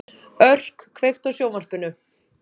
Örk, kveiktu á sjónvarpinu.